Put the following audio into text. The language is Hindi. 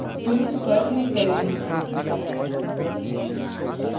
finish पर click करें